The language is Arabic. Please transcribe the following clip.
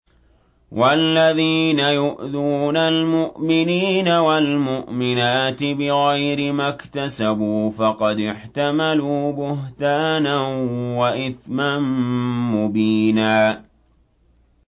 وَالَّذِينَ يُؤْذُونَ الْمُؤْمِنِينَ وَالْمُؤْمِنَاتِ بِغَيْرِ مَا اكْتَسَبُوا فَقَدِ احْتَمَلُوا بُهْتَانًا وَإِثْمًا مُّبِينًا